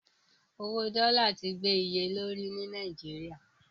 Owó dọ́là ti gbé iye lórí ní Nàìjíríà.